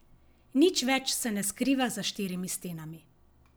Nič več se ne skriva za štirimi stenami.